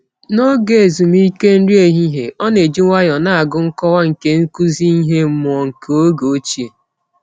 N'oge ezumike nri ehihie, ọ na-eji nwayọọ na-agụ nkọwa nke nkụzi ihe mmụọ nke oge ochie.